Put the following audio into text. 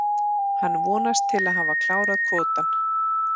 Hann vonast til að hafa klárað kvótann.